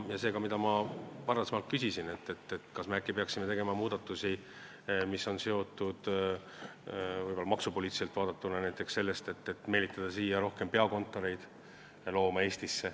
Seega, ma ka varem küsisin, kas me peaksime äkki tegema muudatusi, mis on võib-olla maksupoliitiliselt vaadatuna seotud näiteks sellega, et tuleks meelitada Eestisse rohkem peakontoreid.